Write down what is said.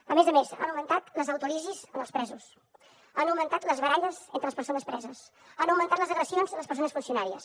a més a més han augmentat les autòlisis en els presos han augmentat les baralles entre les persones preses han augmentat les agressions a les persones funcionàries